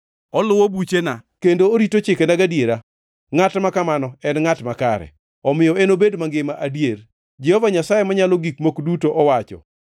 Oluwo buchena, kendo orito chikena gadiera. Ngʼat ma kamano en ngʼat makare, omiyo enobed mangima adier, Jehova Nyasaye Manyalo Gik Moko Duto owacho.